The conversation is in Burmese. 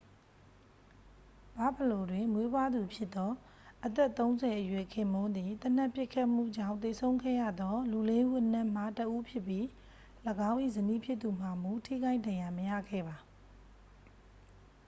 ဘာ့ဖလို တွင်မွေးဖွားသူဖြစ်သော အသက်-၃၀-အရွယ် ခင်ပွန်းသည် သေနတ်ပစ်ခတ်မှုကြောင့်သေဆုံးခဲ့ရသောလူလေးဦးအနက်မှ တစ်ဦးဖြစ်ပြီး ၎င်း၏ဇနီးဖြစ်သူမှာမူ ထိခိုက်ဒဏ်ရာမရခဲ့ပါ။